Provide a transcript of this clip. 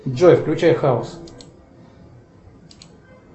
джой включай хаос